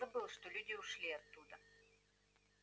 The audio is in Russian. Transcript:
он забыл что люди ушли оттуда